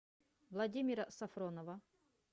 владимира сафронова